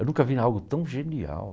Eu nunca vi algo tão genial.